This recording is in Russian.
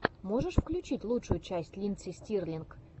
можешь включить лучшую часть линдси стирлинг